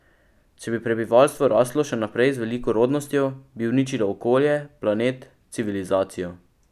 Če bi prebivalstvo raslo še naprej z veliko rodnostjo, bi uničilo okolje, planet, civilizacijo.